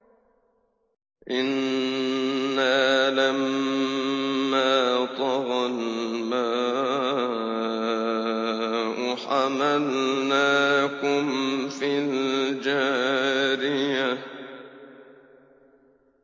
إِنَّا لَمَّا طَغَى الْمَاءُ حَمَلْنَاكُمْ فِي الْجَارِيَةِ